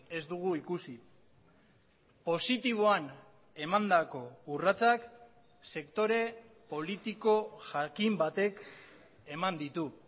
ez dugu ikusi positiboan emandako urratsak sektore politiko jakin batek eman ditu